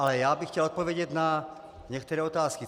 Ale já bych chtěl odpovědět na některé otázky.